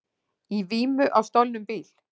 Í vímu á stolnum bíl